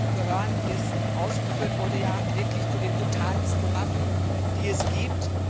Streubomben gehören, wie es ausgeführt wurde, ja wirklich zu den brutalsten Waffen, die es gibt.